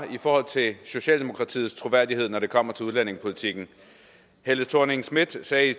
i forhold til socialdemokratiets troværdighed når det kommer til udlændingepolitikken helle thorning schmidt sagde